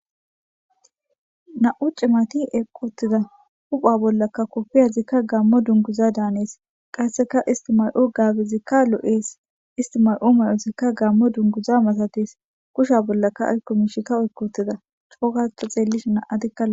na7u cimati eeqottida hupha bollakka koppiyazikka gaammo dunguza daanees qasseka istimay7o gaagezikka loo7ees istimay7o may7ozikka gammo dunguza masates kusha bollaka ayko mishika oykkotida coo gada xeellish na'atika lo'etes